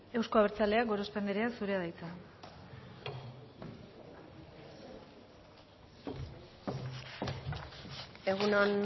euzko abertzaleak gorospe andrea zurea da hitza egun on